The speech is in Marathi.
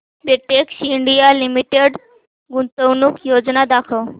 बेटेक्स इंडिया लिमिटेड गुंतवणूक योजना दाखव